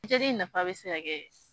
nafa bɛ se ka kɛ